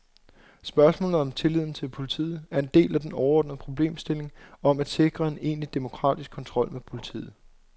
Spørgsmålet om tilliden til politiet er en del af den overordnede problemstilling om at sikre en egentlig demokratisk kontrol med politiet.